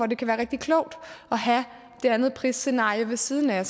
det kan være rigtig klogt at have det andet prisscenarie ved siden af